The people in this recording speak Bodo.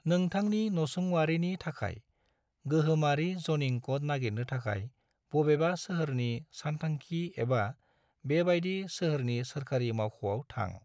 नोंथांनि नसुंवारिनि थाखाय गोहोमारि ज'निं क'ड नागिरनो थाखाय, बबेबा सोहोरनि सानथांखि एबा बेबायदि सोहोरनि सोरखारि मावख'आव थां।